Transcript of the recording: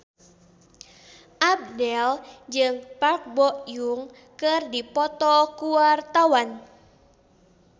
Abdel jeung Park Bo Yung keur dipoto ku wartawan